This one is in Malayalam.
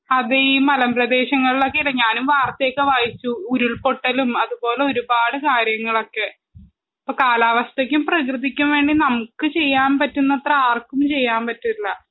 അത് ഈ മലമ്പ്രദേശങ്ങൾലൊക്കെ ഞാനും വാർത്തയൊക്കെ വായിച്ചു ഉരുൾപൊട്ടലും അത് പോലൊരുപാട് കാര്യങ്ങളൊക്കെ ഇപ്പൊ കാലാവസ്ഥക്കും പ്രകൃതിക്കും വേണ്ടി നമുക്ക് ചിയ്യാൻ പറ്റുന്നത്ര ആർക്കും ചിയ്യാൻ പറ്റില്ല നമ്മള് മനു